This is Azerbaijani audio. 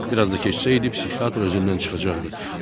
Biraz da keçsəydi, psixiatr özündən çıxacaqdı.